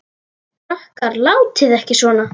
Krakkar látiði ekki svona!